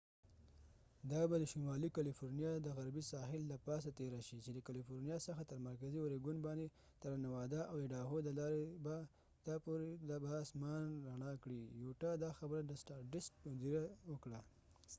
دا به د شمالی کلیفورنیا د غربی ساحل د پا سه تیره شي چې دکلیفورنیا څخه تر مرکزی اوریګون باندي تر نوادا nevada او ایډاهو idaho د لارې به یوټا utah ته پورې به اسمان رڼا کړي دا خبره د سټار ډست مدیر وکړه